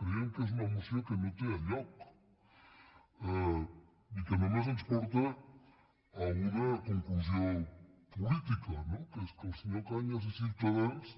creiem que és una moció que no té lloc i que només ens porta a una conclusió política no que és que el senyor cañas i ciutadans